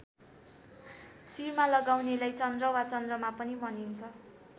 शिरमा लगाउनेलाई चन्द्र वा चन्द्रमा पनि भनिन्छ।